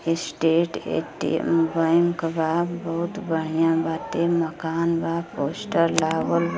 Estate ATM. Bank बा। बहुत बढ़िया बाटे। मकान बा। पोस्टर लागल ब --